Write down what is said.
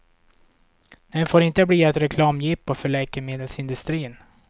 Den får inte bli ett reklamjippo för läkemedelsindustrin.